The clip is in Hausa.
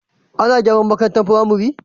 Ana garan makarantar pramari